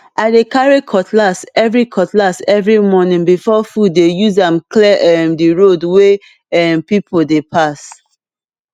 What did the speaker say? i dey carry cutlass every cutlass every morning before foodi dey use am clear um the road wey um people dey pass